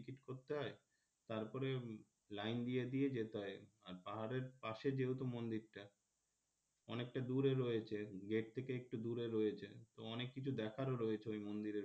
করতে হয় তারপরে লাইন দিয়ে দিয়ে যেতে হয় আর পাহাড়ের পাশে যেহেতু মন্দির টা অনেকটা দূরে রয়েছে gate থেকে একটু দূরে রয়েছে অনেককিছু দেখার ও রয়েছে ওই মন্দিরের মধ্যে,